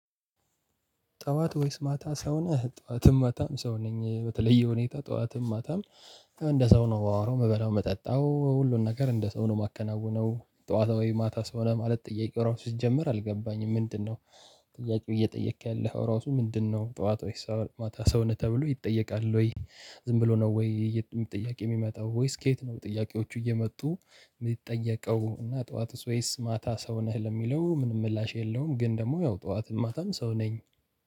ጥዋት ወይስ ማታ ሰው ነህ ጥዋትም ማታም ሰው ነኝ። በተለየ ሁኔታ ጥዋትም ማታም እንደ ሰው ነው የማወራው የምበላው የምጠጣው ሁሉን ነገር እንደ ሰው ነው የማከናውነው። ጠዋታ ወይ ማታ ሰው ነህ ማለት ጥያቄ ራሱ ሲጀመር አልገባኝም ምንድነው? ጥያቄው እየጠየቅክ ያለኸው ራሱ ምንድነው? ጠዋት ወይስ ማታ ሰው ነህ? ተብሎ ይጠየቃል ወይ ዝም ብሎ ነው ወይ ጥያቄ የሚመጣው ወይስ ከየት ነው? ጥያቄዎቹ እየመጡ የሚጠየቀው እና ጠዋትስ ወይስ ማታ ሰው ነህ ለሚለው ምንም ምላሽ የለውም። ግን ደግሞ ያው ጠዋት ማታም ሰው ነኝ።